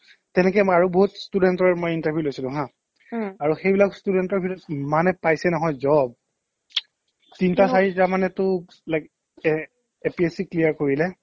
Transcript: তেনেকৈ মই আৰু বহুত student ৰ মই interview লৈছিলো হা আৰু সেইবিলাক student ৰ ভিতৰত কিমানে পাইছে নহয় job তিনটা চাৰিটা মানেটো likes এ APSCএ clear কৰিলে